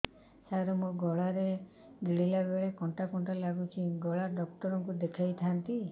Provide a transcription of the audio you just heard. ସାର ମୋ ଗଳା ରେ ଗିଳିଲା ବେଲେ କଣ୍ଟା କଣ୍ଟା ଲାଗୁଛି ଗଳା ଡକ୍ଟର କୁ ଦେଖାଇ ଥାନ୍ତି